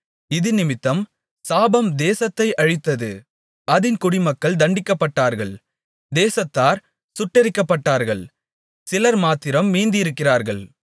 இதினிமித்தம் சாபம் தேசத்தை அழித்தது அதின் குடிமக்கள் தண்டிக்கப்பட்டார்கள் தேசத்தார் சுட்டெரிக்கப்பட்டார்கள் சிலர்மாத்திரம் மீந்திருக்கிறார்கள்